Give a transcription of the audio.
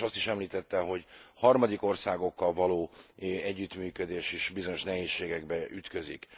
És azt is említette, hogy harmadik országokkal való együttműködés is bizonyos nehézségekbe ütközik.